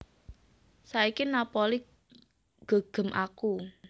Saiki Napoli nggegem aku